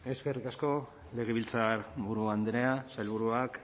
eskerrik asko legebiltzarburu andrea sailburuak